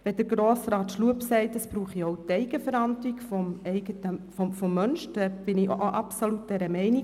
Wenn Grossrat Schlup sagt, es brauche auch Eigenverantwortung, dann stimme ich dem zu.